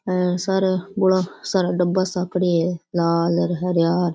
ये सार बोला सारा डब्बा सा पडया है लाल और हरा --